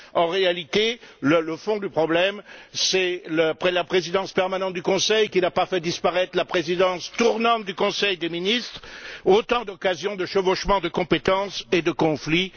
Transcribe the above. En réalité, le fond du problème, c'est la présidence permanente du Conseil qui n'a pas fait disparaître la présidence tournante du conseil des ministres. Autant d'occasions, de chevauchements de compétences et de conflits.